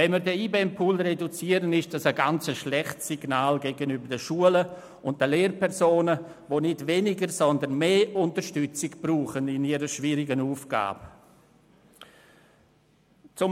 Eine Reduktion des IBEM-Pools ist ein schlechtes Signal gegenüber den Schulen und den Lehrpersonen, die nicht weniger, sondern mehr Unterstützung in ihrer schwierigen Aufgabe brauchen.